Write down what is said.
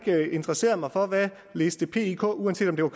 interesseret mig for hvad liste pik uanset om det var